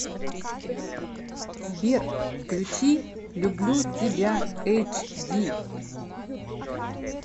сбер включи люблю тебя эйч ди